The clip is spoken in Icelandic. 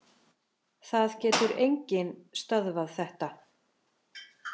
Það getur enginn stöðvað þetta